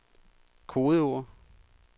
kodeord